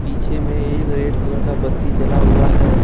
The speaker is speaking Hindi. पीछे में एक रेड कलर का बत्ती जला हुआ है।